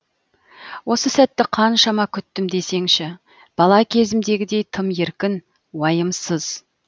осы сәтті қаншама күттім десеңші бала кезімдегідей тым еркін уайымсыз